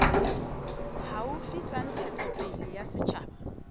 haufi tsa ntshetsopele ya setjhaba